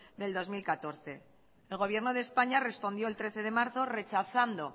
del dos mil catorce el gobierno de españa respondió el trece de marzo rechazando